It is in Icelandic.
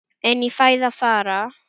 En í fæði fara